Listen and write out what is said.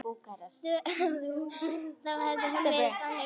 Þá hefði hún verið þannig